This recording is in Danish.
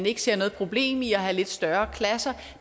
ikke ser noget problem i at have lidt større klasser